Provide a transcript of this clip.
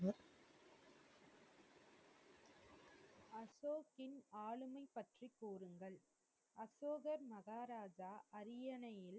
அசோக்கின் ஆளுமை பற்றி கூறுங்கள். அசோகர் மகாராஜா அரியணையில்,